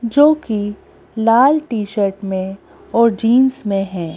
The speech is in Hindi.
जो कि लाल टी-शर्ट मे और जींस मे है।